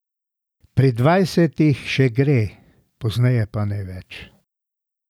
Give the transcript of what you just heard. Pri dvajsetih še gre, pozneje pa ne več.